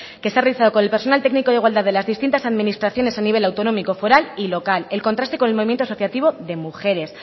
que se ha realizado con el personal técnico de igualdad de las distintas administraciones a nivel autonómico foral y local el contraste con el movimiento asociativo de mujeres